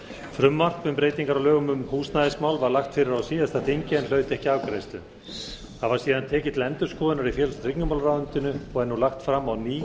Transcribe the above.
frumvarp um breytingar á lögum um húsnæðismál var lagt fyrir á síðasta þingi en hlaut ekki afgreiðslu það var síðan tekið til endurskoðunar í félags og tryggingamálaráðuneytinu og er nú lagt fram á ný